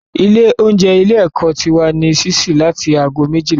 Ilé oúnjẹ ilé ẹ́kọ́ ti wà ní sísí láti ago méjìlá ọ̀sán